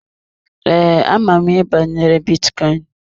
Ee, ama m ihe banyere bitcoin.